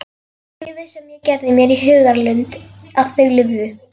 Lífið sem ég gerði mér í hugarlund að þau lifðu.